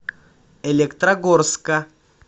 электрогорска